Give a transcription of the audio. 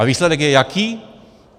A výsledek je jaký?